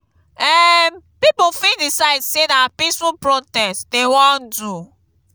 um pipo fit decide say na peaceful protest dem won do